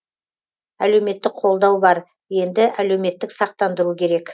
әлеуметтік қолдау бар енді әлеуметтік сақтандыру керек